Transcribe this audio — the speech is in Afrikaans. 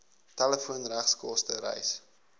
telefoon regskoste reis